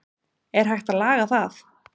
er hægt að laga það